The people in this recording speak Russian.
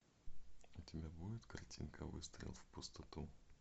у тебя будет картинка выстрел в пустоту